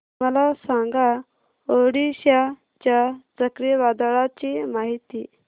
मला सांगा ओडिशा च्या चक्रीवादळाची माहिती